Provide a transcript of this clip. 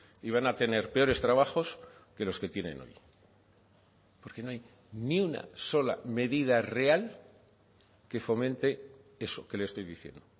y van a tener peores trabajos que los que tienen hoy porque no hay ni una sola medida real que fomente eso que le estoy diciendo